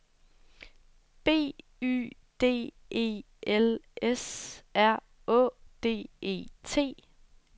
B Y D E L S R Å D E T